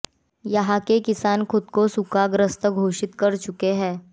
यहां के किसान खुद को सूखाग्रस्त घोषित कर चुके हैं